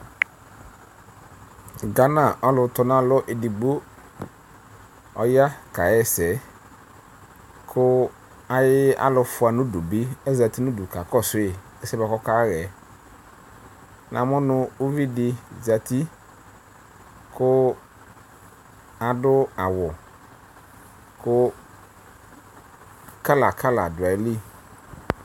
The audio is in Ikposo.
Gana ɔlʋtanalɔ edigbo, ɔya kaɣa ɛsɛ kʋ ayʋ alʋfʋa nʋ udu bɩ azati nʋ udu kakɔsʋ yɩ ɛsɛ yɛ bʋa kʋ ɔkaɣa yɛ Namʋ nʋ uvi dɩ zati kʋ adʋ awʋ kʋ kala kala dʋ ayili